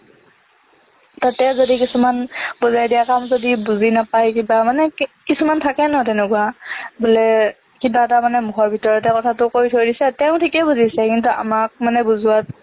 তাতে যদি কিছুমান বুজাই দিয়া কাম যদি বুজি নাপাই কিবা মানে কি কিছুমান থাকে ন তেনেকুৱা বোলে কিবা এটা মানে মুখৰ ভিতৰতে কথাটো কৈ থৈ দিছে তেওঁ থিকেই বুজিছে কিন্তু আমাক মানে বুজোৱাত